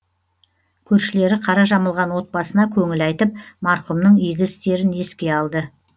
көршілері қара жамылған отбасына көңіл айтып марқұмның игі істерін еске алды